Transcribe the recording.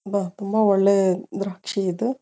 ಬ ತುಂಬ ಒಳ್ಳೆ ದ್ರಾಕ್ಷಿ ಇದೆ.